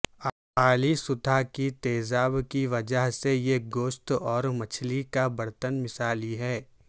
اعلی سطح کی تیزاب کی وجہ سے یہ گوشت اور مچھلی کا برتن مثالی ہے